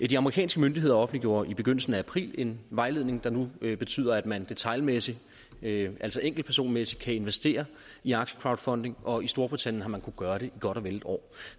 de amerikanske myndigheder offentliggjorde i begyndelsen af april en vejledning der nu betyder at man detailmæssigt altså enkeltpersonmæssigt kan investere i aktiecrowdfunding og i storbritannien har man kunnet gøre det i godt og vel et år